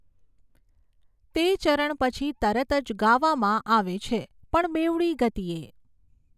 તે ચરણ પછી તરત જ ગાવામાં આવે છે, પણ બેવડી ગતિએ.